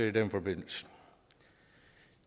i den forbindelse